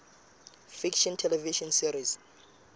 fiction television series